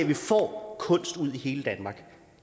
vi får kunst ud i hele danmark